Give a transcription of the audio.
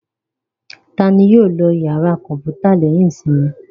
Ta ni yóò lọ ìyàrá kọ̀ǹpútà lẹ́yìn ìsinmi?